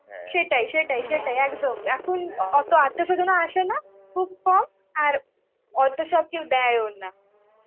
সেটটি সেটাই সেটাই একদম. এখন অতো আত্মীয় স্বজনরা আসেনা, খুব কম. আর অত সব কেউ দেয়ওনা.